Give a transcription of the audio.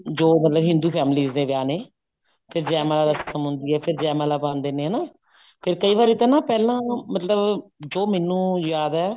ਜੋ ਮਤਲਬ ਹਿੰਦੂ families ਦੇ ਵਿਆਹ ਨੇ ਫੇਰ ਜੈ ਮਾਲਾ ਰਸ਼ਮ ਹੁੰਦੀ ਹੈ ਫੇਰ ਜੈ ਮਾਲਾ ਪਾਉਂਦੇ ਨੇ ਹਨਾ ਫੇਰ ਕਈ ਵਾਰੀ ਤਾਂ ਨਾ ਪਹਿਲਾਂ ਮਤਲਬ ਜੋ ਮੈਨੂੰ ਯਾਦ ਹੈ